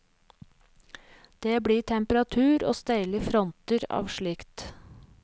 Det blir temperatur og steile fronter av slikt.